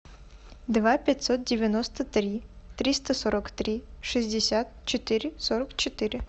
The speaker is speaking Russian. два пятьсот девяносто три триста сорок три шестьдесят четыре сорок четыре